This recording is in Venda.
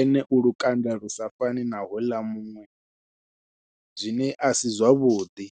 ene u lukanda lu sa fani na houḽa muṅwe zwine a si zwavhuḓi.